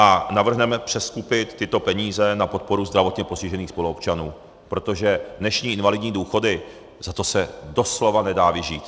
A navrhneme přeskupit tyto peníze na podporu zdravotně postižených spoluobčanů, protože dnešní invalidní důchody, za to se doslova nedá vyžít.